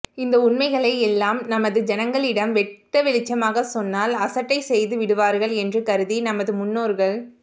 இந்த உண்மைகளை எல்லாம் நமது ஜனங்களிடம் வெட்ட வெளிச்சமாக சொன்னால் அசட்டை செய்து விடுவார்கள் என்று கருதி நமது முன்னோர்கள்